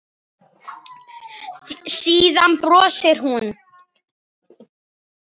Síðan brosir hún.